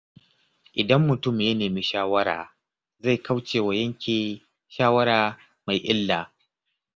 Idan mutum ya nemi shawara, zai kauce wa yanke shawara mai illa.